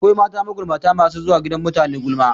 Akwai mata magulmata masu zuwa gidan mutane gulma